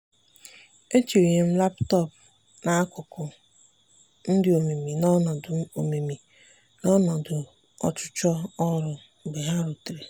etinyere m laptọọpụ m n'akụkụ—m dị omimi na ọnọdụ omimi na ọnọdụ ọchụchọ ọrụ mgbe ha rutere.